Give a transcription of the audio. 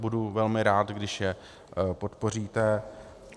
Budu velmi rád, když je podpoříte.